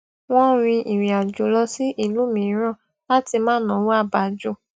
wọn rin ìrìn àjò lọ sí ìlú mìíràn láti má náwó à bá jù